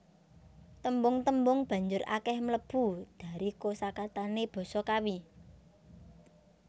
Tembung tembung banjur akèh mlebu dari kosakatané basa Kawi